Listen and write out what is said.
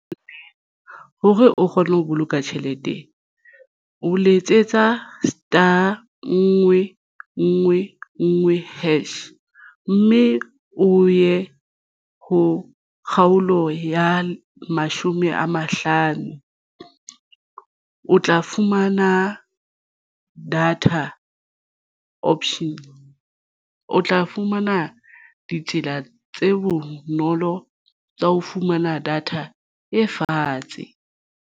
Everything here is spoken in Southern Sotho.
Hore o kgone ho boloka tjhelete o letsetsa star nngwe nngwe nngwe hash mme o ye ho kgaolo ya mashome a mahlano o tla fumana data option o tla fumana ditsela tse bonolo tsa ho fumana data e fatshe.